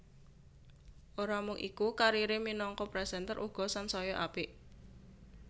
Ora mung iku karire minangka presenter uga sansaya apik